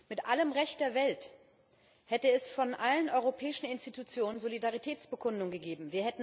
Mit allem Recht der Welt hätte es von allen europäischen Institutionen Solidaritätsbekundungen gegeben.